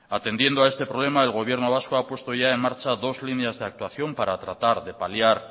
atendiendo a este problema el gobierno vasco ha puesto ya en marcha dos líneas de actuación para tratar de paliar